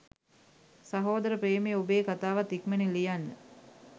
සහෝදර ප්‍රේමයේ ඔබේ කතාවත් ඉක්මනින් ලියන්න